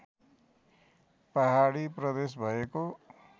पहाडी प्रदेश भएको